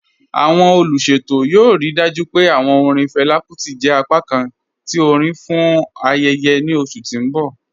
Awọn oluṣetọ yoo rii dájú pé awọn orin Fela Kuti jẹ apákàn ti orin fún ayẹyẹ ni oṣù ti n bọ̀